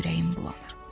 Ürəyim bulanır.